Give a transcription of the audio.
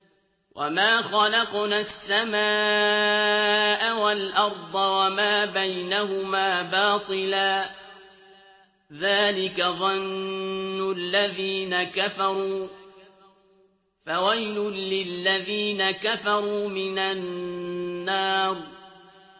وَمَا خَلَقْنَا السَّمَاءَ وَالْأَرْضَ وَمَا بَيْنَهُمَا بَاطِلًا ۚ ذَٰلِكَ ظَنُّ الَّذِينَ كَفَرُوا ۚ فَوَيْلٌ لِّلَّذِينَ كَفَرُوا مِنَ النَّارِ